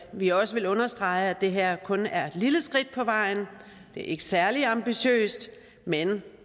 vi også vil understrege at det her kun er et lille skridt på vejen det er ikke særlig ambitiøst men